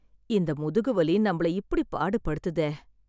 இந்த முதுகு வலி நம்மள இப்படி பாடு படுத்துதே.